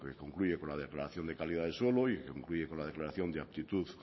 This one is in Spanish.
concluye con la declaración de calidad del suelo y que concluye con la declaración de actitud